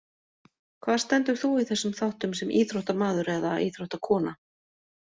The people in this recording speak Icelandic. Hvar stendur þú í þessum þáttum sem íþróttamaður eða íþróttakona?